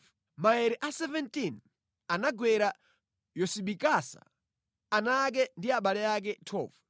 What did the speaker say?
Maere a 17 anagwera Yosibakasa, ana ake ndi abale ake. 12